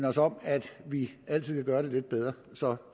os om at vi altid kan gøre det lidt bedre så